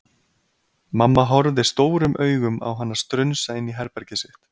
Mamma horfði stórum augum á hana strunsa inn í herbergið sitt.